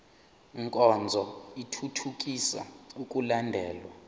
nkonzo ithuthukisa ukulandelwa